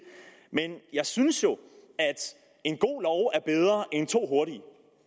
men jeg synes jo at en god lov er bedre end to hurtige love